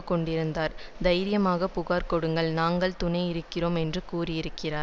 கொண்டிருக்கிறார் தைரியமாக புகார் கொடுங்கள் நாங்கள் துணையிருக்கிறோம் என்று கூறியிருக்கிறார்